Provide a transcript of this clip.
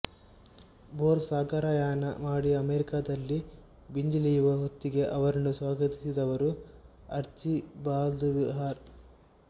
bore ಸಾಗರಯಾನ ಮಾಡಿ ಅಮೇರಿಕದಲ್ಲಿ ಬಂದಿಳಿಯುವ ಹೊತ್ತಿಗೆ ಅವರನ್ನು ಸ್ವಾಗತಿಸಿದವರು ಅರ್ಚಿಬಾಲ್ದ್ ವ್ಹೀಲರ್